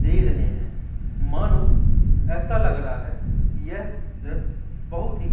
दे रहे हैं मानो ऐसा लग रहा है कि ये दृश्य बहुत ही--